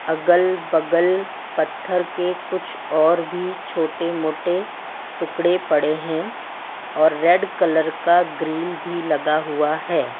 अगल बगल पत्थर के कुछ और भी छोटे मोटे टुकड़े पड़े हैं और रेड कलर का ग्रिल भी लगा हुआ है।